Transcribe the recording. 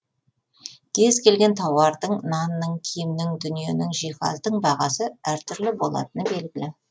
кез келген тауардың нанның киімнің дүниенің жиһаздың бағасы әртүрлі болатыны белгілі